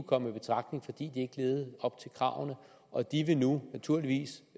komme i betragtning fordi ikke levede op til kravene og de vil nu naturligvis